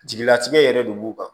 Jigilatigɛ yɛrɛ de b'u kan